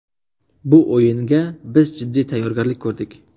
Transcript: Bu o‘yinga biz jiddiy tayyorgarlik ko‘rdik.